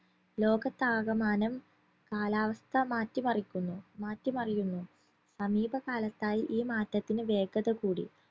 ലോകത്താകമാനം കാലാവസ്ഥ മാറ്റിമറിക്കുന്നു മാറ്റിമറിയുന്നു സമീപകാലത്തായി ഈ മാറ്റത്തിന് വേഗതകൂടി